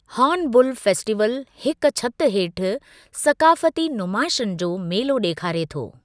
Horn blue Festival हिकु छिति हेठि सकाफ़ती नुमाइशन जो मेलो ॾेखारे थो।